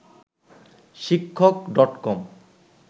শিক্ষক ডট কম